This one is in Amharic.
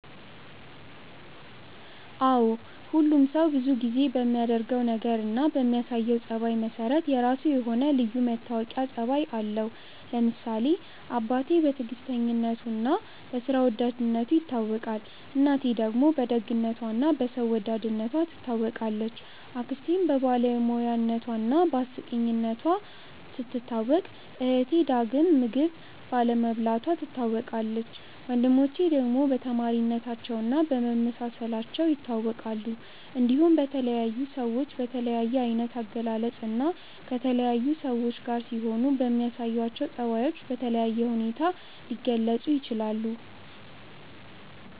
አዎ ሁሉም ሰው ብዙ ጊዜ በሚያደርገው ነገር እና በሚያሳየው ጸባይ መሰረት የራሱ የሆነ ልዩ መታወቂያ ጸባይ አለው። ለምሳሌ አባቴ በትዕግስተኝነቱ እና በስራ ወዳድነቱ ይታወቃል፣ እናቴ ደግሞ በደግነቷ እና በሰው ወዳድነቷ ትታወቃለች፣ አክስቴም በባለሙያነቷ እና በአስቂኝነቷ ስትታወቅ እህቴ ዳግም ምግብ ባለመብላቷ ትታወቃለች፣ ወንድሞቼ ደግሞ በተማሪነታቸው እና በመመሳሰላቸው ይታወቃሉ። እንዲሁም በተለያዩ ሰዎች በተለያየ አይነት አገላለጽ እና ከተለያዩ ሰዎች ጋር ሲሆኑ በሚያሳዩአቸው ጸባዮች በተለየ ሁኔታ ሊገለጹ ይችላል።